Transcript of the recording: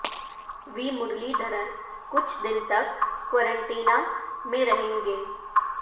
وی مرلی دھرن کچھ دن تک قرنطینہ میں رہیں گے